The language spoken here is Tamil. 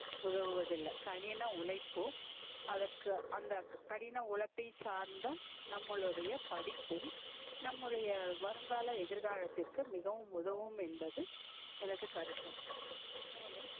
உதவுவது இல்ல கடின உழைப்பும் அதற்கு அந்த கடின உழைப்பை சார்ந்த நம்பலுடைய படிப்பும் நம்முடைய வருங்கால எதிர்காலதிற்கு மிகவும் உதவும் என்பது எனது கருத்தும் மேலும்